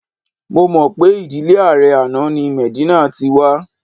Mo mọ̀ pé ìdílé ààrẹ àná ni Medina ti wa